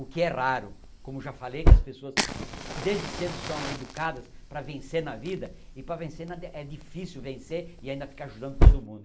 O que é raro, como já falei, que as pessoas desde cedo são educadas para vencer na vida e para vencer é difícil vencer e ainda ficar ajudando todo mundo.